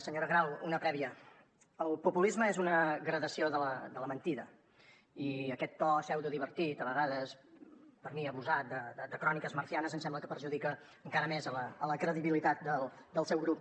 senyora grau una prèvia el populisme és una gradació de la mentida i aquest to pseudodivertit a vegades per mi abusat de crónicas marcianas em sembla que perjudica encara més la credibilitat del seu grup